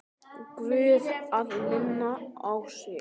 Guð að minna á sig.